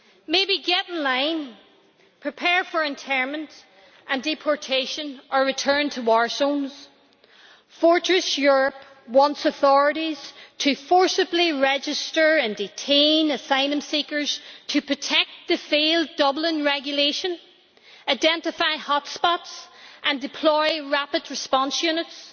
Maybe, get in line, prepare for internment and deportation, or return to war zones'. Fortress Europe wants authorities to forcibly register and detain asylum seekers to protect the failed Dublin Regulation, identify hotspots and deploy rapid response units.